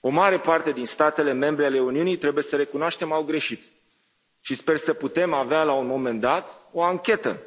O mare parte din statele membre ale Uniunii trebuie să recunoaștem au greșit și sper să putem avea, la un moment dat, o anchetă